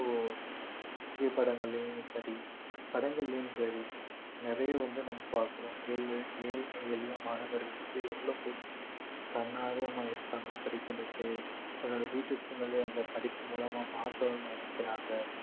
புகைப்படங்களிலும் சரி படங்களிலும் சரி நிறைய வந்து நம்ம பார்க்கிறோம் ஏழ் ஏழ்மை எளிய மாணவர்கள் வந்து எவ்வளவு பேர் வந்து தன்னார்வமா இருக்காங்க படிக்கிறதுக்கு தன்னோட வீட்டு சூழ்நிலையை அந்த படிப்பு மூலமா மாத்தணும்னு நினைக்கிறாங்க